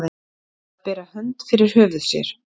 Að bera hönd fyrir höfuð sér